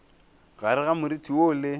gare ga moriti woo le